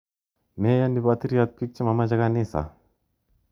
Meyoni patiryot piik che mamache kanisa .